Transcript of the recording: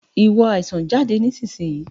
Ìwọ àìsàn, jáde nísinsìnyí!